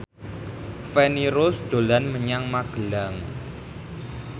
Feni Rose dolan menyang Magelang